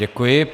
Děkuji.